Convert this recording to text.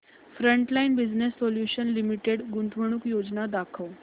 frontline Business Solutions Limited गुंतवणूक योजना दाखव